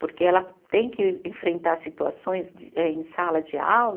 Porque ela tem que enfrentar situações de eh em sala de aula